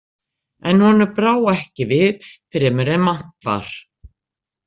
En honum brá ekki við fremur en vant var.